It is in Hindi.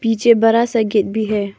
पीछे बड़ा सा गेट भी है।